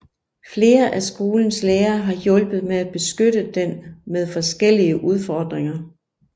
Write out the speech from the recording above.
Flere af skolens lærere har hjulpet med at beskytte den med forskellige udfordringer